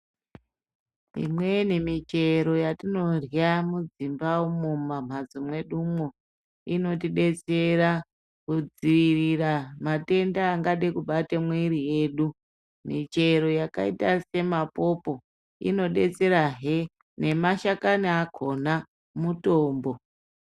Imweni michero yatinorya mudzimba umu mumhatso medumwo inotibatsira kudzivirira matenda angade kubata mwiri yedu .Michero yakaita semapopo inodetserehe nemashakani akona mutombo.